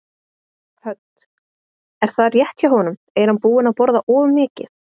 Hödd: Er það rétt hjá honum, er hann búinn að borða of mikið?